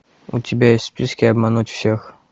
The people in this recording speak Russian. у тебя есть в списке обмануть всех